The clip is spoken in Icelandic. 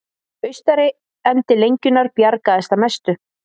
Austari endi lengjunnar bjargaðist að mestu